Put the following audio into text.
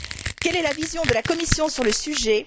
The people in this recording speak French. Quelle est la vision de la Commission sur le sujet?